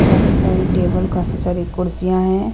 काफी सारी टेबल काफी सारी कुर्सियां हैं।